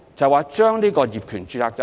問題就在於這個業權註冊制度。